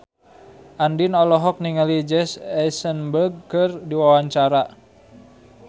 Andien olohok ningali Jesse Eisenberg keur diwawancara